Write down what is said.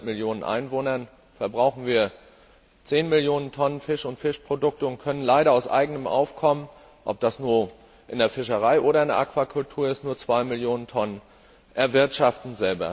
Mit 500 Millionen Einwohnern verbrauchen wir zehn Millionen Tonnen Fisch und Fischprodukte und können leider aus eigenem Aufkommen ob in der Fischerei oder in der Aquakultur nur zwei Millionen Tonnen selbst erwirtschaften.